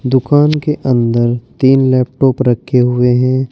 दुकान के अंदर तीन लैपटॉप रखें हुए हैं।